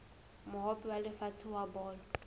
mohope wa lefatshe wa bolo